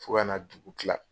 Fo ka na dugu kila.